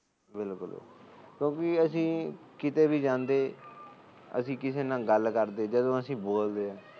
ਬਿਲਕੁਲ ਕਿਉਂਕਿ ਅਸੀ ਕਿਤੇ ਵੀ ਜਾਂਦੇ ਜਦੋਂ ਅਸੀ ਗੱਲ ਕਰਦੇ ਜਦੋ ਅਸੀ ਬੋਲਦੇ